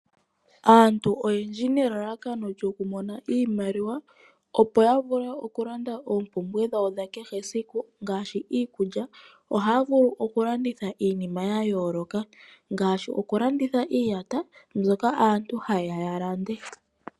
Aantu oyendji nelalakano lyokumona iimaliwa opo yavule okulanda oompumbwe dhawo dhakehesiku ngaashi iikulya, ohaya vulu okulanditha iinima yayooloka ngaashi, okulanditha iiyata mbyoka aantu hayeya yalande.